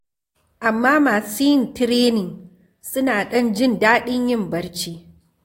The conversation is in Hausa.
Amma masu yin tirenin suna ɗan jin daɗin yin barci.